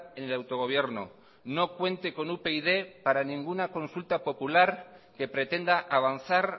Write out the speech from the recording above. en el autogobierno no cuente con upyd para ninguna consulta popular que pretenda avanzar